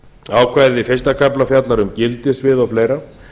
ákvæði fyrsta kafla fjallar um gildissvið og fleira